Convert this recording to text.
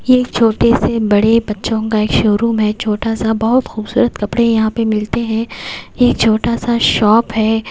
ये एक छोटे से बड़े बच्चों का एक शोरूम है छोटा सा बहुत खूबसूरत कपड़े यहां पे मिलते हैं ये छोटा सा शॉप है।